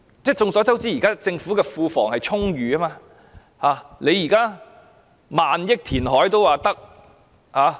眾所周知，現時政府庫房充裕，用萬億元填海也可以。